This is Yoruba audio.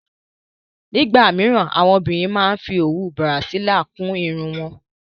Nígbà míràn, àwọn obìnrin a máa ń fí owú Bràsílí kún ìrún wọn.